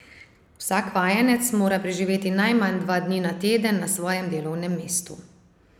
Vsak vajenec mora preživeti najmanj dva dni na teden na svojem delovnem mestu.